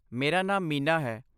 ਮੇਰਾ ਨਾਮ ਮੀਨਾ ਹੈ।